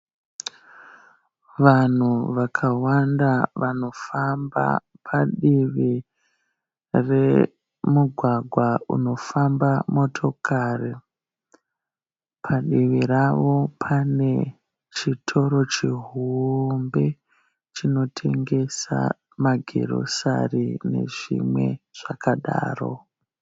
Vanhu vakawanda vanofamba padivi remugwagwa unofamba motokari. Padivi rawo pane chitoro chihombe chinotengesa magirosari nezvimwe zvakadaro.